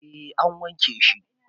A wanke shi